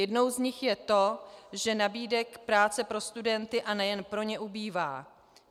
Jednou z nich je to, že nabídek práce pro studenty, a nejen pro ně, ubývá.